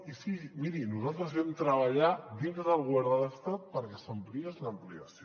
i sí miri nosaltres vam treballar dintre del govern de l’estat perquè s’ampliés l’ampliació